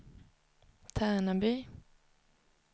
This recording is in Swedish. Tärnaby